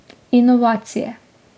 Inovacije.